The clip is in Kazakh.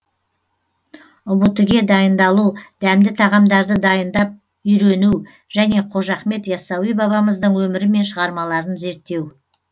ұбт ге дайындалу дәмді тағамдарды дайындап үйрену және қожа ахмет яссауи бабамыздың өмірі мен шығармаларын зерттеу